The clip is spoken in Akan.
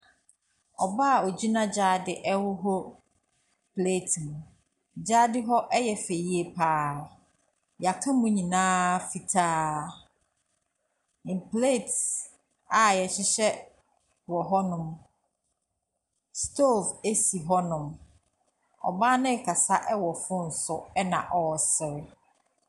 Ɔbaa ogyina gyaade ɛhorohoro plɛɛte mu. Gyaade hɔ ɛyɛ fɛ yie paa. Yaka mu nyinaa fitaa. Mplɛɛtes a yɛhyehyɛ wɔ hɔ nom. Stoov esi hɔ nom. Ɔbaa no kasa ɛwɔ fon so ɛna ɔseree.